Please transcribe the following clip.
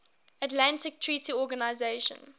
atlantic treaty organisation